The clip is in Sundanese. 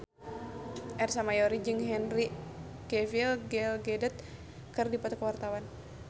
Ersa Mayori jeung Henry Cavill Gal Gadot keur dipoto ku wartawan